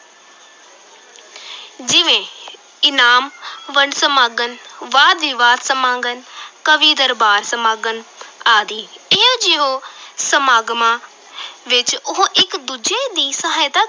ਜਿਵੇਂ ਇਨਾਮ ਵੰਡ ਸਮਾਗਮ, ਵਾਦ-ਵਿਵਾਦ ਸਮਾਗਮ ਕਵੀ-ਦਰਬਾਰ ਸਮਾਗਮ ਆਦਿ, ਇਹੋ ਜਿਹੋ ਸਮਾਗਮਾਂ ਵਿੱਚ ਉਹ ਇਕ ਦੂਜੇ ਦੀ ਸਹਾਇਤਾ